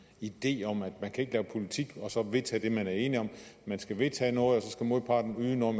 idé om at man ikke kan lave politik og så vedtage det man er enige om man skal vedtage noget og modparten yde noget